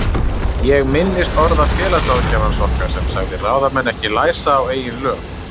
Ég minnist orða félagsráðgjafans okkar sem sagði ráðamenn ekki læsa á eigin lög.